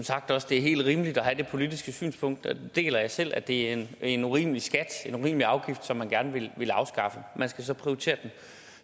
sagt også det er helt rimeligt at have det politiske synspunkt og det deler jeg selv at det er en urimelig skat en urimelig afgift som man gerne vil afskaffe man skal så prioritere det